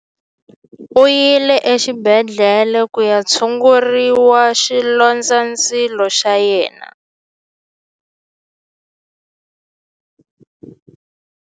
U yile exibedhlele ku ya tshungurisa xilondzandzilo xa yena.